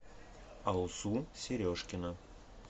алсу сережкина